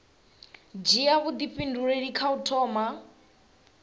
dzhia vhuifhinduleli kha u thoma